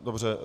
Dobře.